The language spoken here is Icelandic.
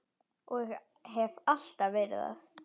Og hef alltaf verið það.